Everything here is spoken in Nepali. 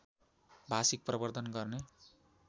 भाषिक प्रवर्द्धन गर्ने